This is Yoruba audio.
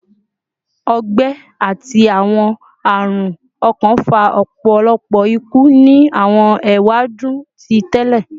Ọgbẹ ati awọn arun ọkan fa ọpọlọpọ iku ni awọn ewadun ti tẹlẹ